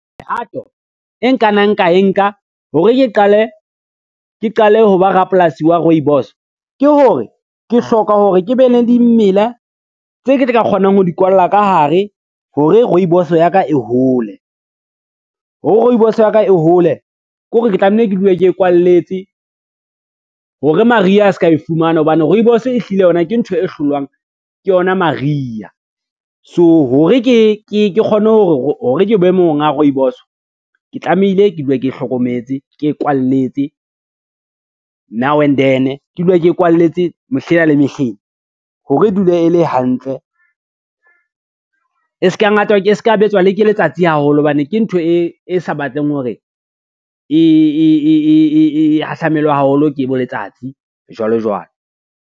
Mehato e nkanang ka e nka hore ke qale ho ba rapolasi wa rooibos ke hore, ke hloka hore ke be le dimela tse ke tla ka kgonang ho di kwalla ka hare hore rooibos ya ka e hole. Ho re rooibos ya ka e hole, kore ke tlameile ke dule ke kwalletse hore mariha a ska e fumana hobane rooibos ehlile yona ke ntho e hlolwang ke yona mariha, so hore ke kgone hore ke be monga rooibos, ke tlamehile ke dule ke hlokometse, ke e kwalletse now and then ke dule ke kwalletse mehlena le mehlena, hore e dule e le hantle, e se ka betswa le ke letsatsi haholo hobane ke ntho e sa batleng hore e hahlamelwe haholo ke bo letsatsi jwalo jwalo.